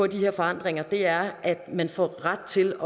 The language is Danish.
de her forandringer er at man får ret til